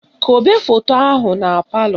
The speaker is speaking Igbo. Kobe foto ahụ na palọ